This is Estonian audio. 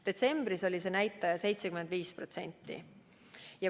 Detsembris oli see näitaja 75%.